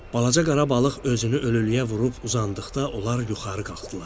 Balaca qara balıq özünü ölülüyə vurub uzandıqda onlar yuxarı qalxdılar.